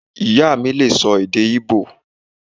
Ìyá mí lè sọ èdè íbò